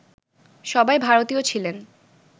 সবাই ভারতীয় ছিলেন